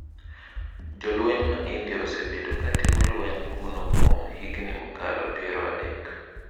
Jolweny ma India osebedo ka timo lweny kuno kuom higni mokalo piero adek.